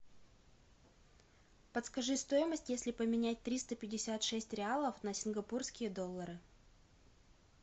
подскажи стоимость если поменять триста пятьдесят шесть реалов на сингапурские доллары